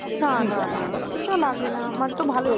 না না না সে তো লাগে না আমার তো ভালোই